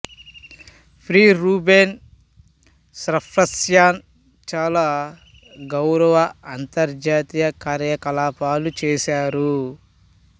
ప్రి Ruben Safrastyan చాలా గౌరవ అంతర్జాతీయ కార్యకలాపాలు చేశారు